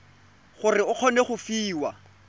gore o kgone go fiwa